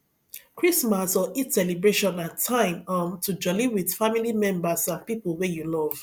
christmas or eid celebration na time um to joli with family members and pipo wey you love